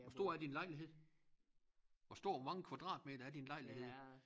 Hvor stor er din lejlighed hvor stor hvor mange kvadratmeter er din lejlighed